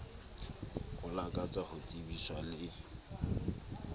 o lakatsa ho tsebiswa le